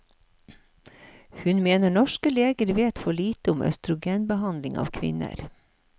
Hun mener norske leger vet for lite om østrogenbehandling av kvinner.